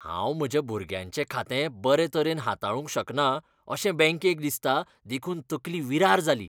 हांव म्हज्या भुरग्याचें खातें बरे तरेन हाताळूंक शकना अशें बँकेक दिसता देखून तकली विरार जाली.